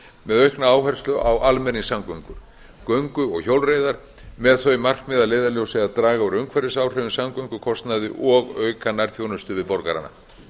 með aukna áherslu á almenningssamgöngur göngu og hjólreiðar með þau markmið að leiðarljósi að draga úr umhverfisáhrifum samgöngukostnaði og auka nærþjónustu við borgarana